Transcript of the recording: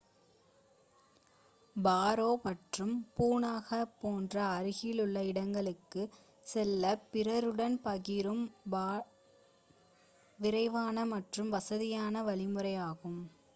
பரோ nu 150 மற்றும் Punakha nu 200 போன்ற அருகிலுள்ள இடங்களுக்குச் செல்ல பிறருடன் பகிரும் டாக்சிகள் விரைவான மற்றும் வசதியான வழிமுறையாகும்